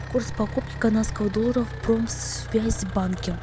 курс покупки канадского доллара в промсвязьбанке